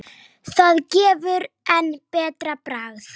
Það gefur enn betra bragð.